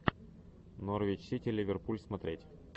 норвич сити ливерпуль смотреть